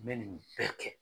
N bɛ nin bɛɛ kɛ.